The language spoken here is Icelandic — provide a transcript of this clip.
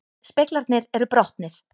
Speglarnir eru brotnir